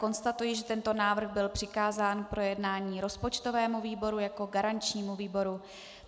Konstatuji, že tento návrh byl přikázán k projednání rozpočtovému výboru jako garančnímu výboru.